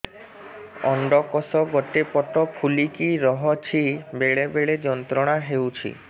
ଅଣ୍ଡକୋଷ ଗୋଟେ ପଟ ଫୁଲିକି ରହଛି ବେଳେ ବେଳେ ଯନ୍ତ୍ରଣା ହେଉଛି